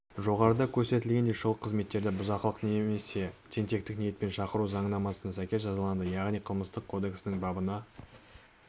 жоғарыда көрсетілгендей шұғыл қызметтерді бұзақылық немесе тентектік ниетпен шақыру заңнамасына сәйкес жазаланады яғни қылмыстық кодексінің бабына